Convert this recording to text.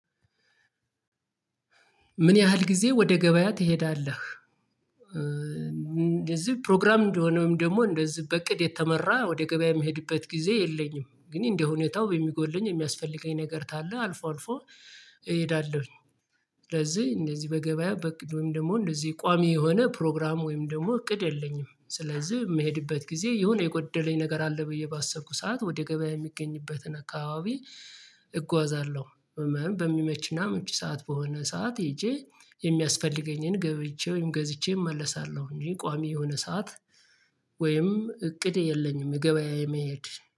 ምን ያህል ጊዜ ወደ ገበያ ትሄዳለህ? እንደዚህ ፕሮግራም እንደሆነም ደግሞ እንደዚህ በእቅድ የተመራ ወደ ገበያ የምሄድበት ጊዜ የለኝም ግን እንደ ሁኔታው በሚጎለኝ የሚያስፈልገኝ ነገር ታለ አልፎ አልፎ እሄዳለሁኝ። ስለዚህ እንደዚህ በገበያ ወይም ደግሞ እንደዚህ ቋሚ የሆነ ፕሮግራም ወይም ደግሞ እቅድ የለኝም። ስለዚህ የምሄድበት ጊዜ የሆነ የጎደለኝ ነገር አለ ብዬ ባሰብኩት ሰዓት ወደ ገበያ የሚገኝበትን አካባቢ እጓዛለሁ። በሚመችና ምቹ ሰዓት በሆነ ሰዓት ሄጄ የሚያስፈልገኝን ገብይቼ ወይም ገዝቼ እመለሳለሁ እኔ ቋሚ የሆነ ሰዓት ወይም እቅድ የለኝም። ገበያ የመሄድ